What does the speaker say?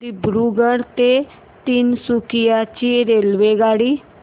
दिब्रुगढ ते तिनसुकिया ची रेल्वेगाडी